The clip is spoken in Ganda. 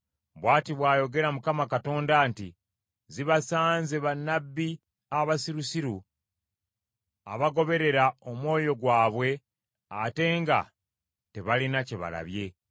Bw’ati bw’ayogera Mukama Katonda nti, zibasanze bannabbi abasirusiru abagoberera omwoyo gwabwe ate nga tebalina kye balabye.